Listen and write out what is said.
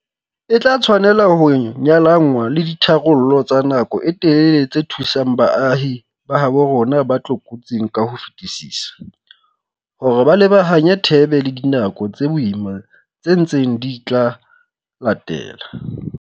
E tla tshwanela ho nyalanngwa le ditharollo tsa nako e telele tse thusang baahi ba habo rona ba tlokotsing ka ho fetisisa, hore ba lebahanye thebe le dinako tse boima tse ntseng di tla latela.